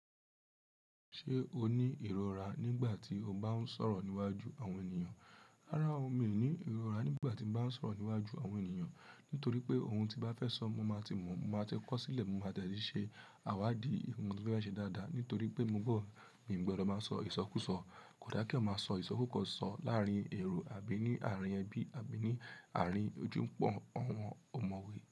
Ṣé o ní ìrora nígbà tí o bá ń sọ̀rọ̀ níwájú àwọn ènìyàn? Rárá o, mi ò ní ìrora nígbà tí mo bá ń sọ̀rọ̀ níwájú àwọn ènìyàn. Nítorí pé ohun tí bá fẹ́ sọ, mo máa ti mọ̀, mo máa ti kọ̀ ọ́ sílẹ̀, mo máa dè ti ṣe àwáàdí ohun tí mo fẹ́ ba ṣe dáadáa. Nítorí pé mo gbọ́, mi ò gbọdọ̀ máa sọ ìsọkúsọ. Kò dá kí èèyàn máa sọ ìsọkúsọ láàrín èrò àbí ní àárín ẹbí àbí ní àárín ojú púpò àwọn ọ̀mọ̀wé.